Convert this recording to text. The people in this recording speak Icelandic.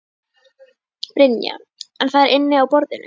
Brynja: En það er inni á borðinu?